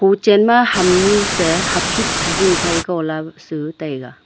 hochen ma ham nyu se hakhit hahing phai go la su taiga.